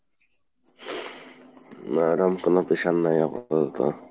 নাহ এরকম কোনো pressure নাই আমার আপাতত।